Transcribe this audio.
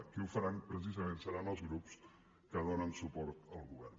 qui ho farà precisament seran els grups que donen suport al govern